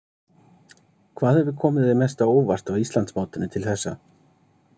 Hvað hefur komið þér mest á óvart á Íslandsmótinu til þessa?